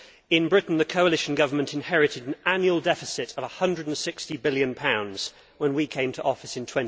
In Britain the coalition government inherited an annual deficit of GBP 160 billion when we came to office in